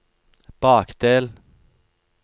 bakdel